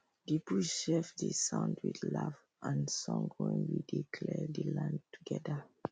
the bush sef dey sound with laugh and song wen we dey clear the land together